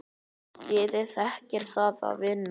Liðið þekkir það að vinna.